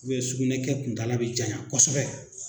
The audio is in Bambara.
sukunɛ kɛ kuntala bi janya kosɛbɛ